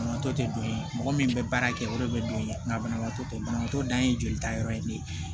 Banabaatɔ te don ye mɔgɔ min bɛ baara kɛ o de bɛ don ye nga banabaatɔ banabaatɔ dan ye jolita yɔrɔ ye ne ye